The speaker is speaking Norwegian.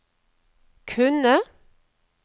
kunne